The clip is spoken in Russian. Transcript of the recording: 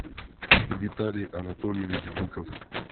виталий анатольевич быков